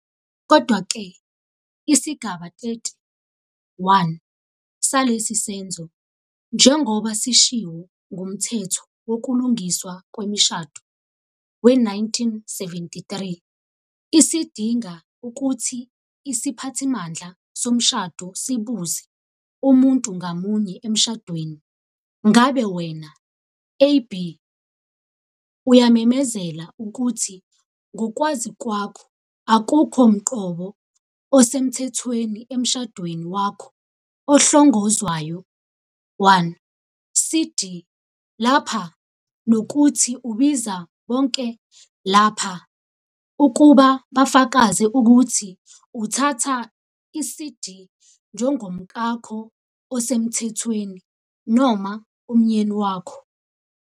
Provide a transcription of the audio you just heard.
Kodwa-ke, isigaba 30, 1, salesi senzo, njengoba sishiwo nguMthetho Wokulungiswa Kwemishado, we-1973, sidinga ukuthi isiphathimandla somshado sibuze umuntu ngamunye emshadweni- "Ngabe wena, "AB", uyamemezela ukuthi ngokwazi kwakho akukho mqobo osemthethweni emshadweni wakho ohlongozwayo one- "CD" lapha, nokuthi ubiza bonke lapha ukuba bafakaze ukuthi uthatha "iCD" njengomkakho osemthethweni ", noma umyeni wakhe," ?"